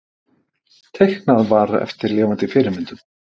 Teiknað var eftir lifandi fyrirmyndum.